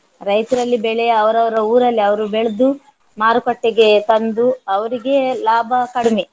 ರೈತರಲ್ಲಿ ಬೆಳೆಯ ಅವರವರ ಉರಲ್ಲಿ ಅವರು ಬೆಳ್ದು ಮಾರುಕಟ್ಟೆಗೆ ತಂದು ಅವರಿಗೆ ಲಾಭ ಕಡಿಮೆ